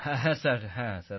হ্যাঁ স্যার হ্যাঁ স্যার